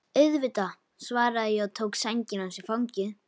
Auðvitað, svaraði ég og tók sængina hans í fangið.